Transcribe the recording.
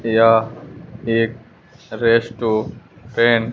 यह एक restaurant --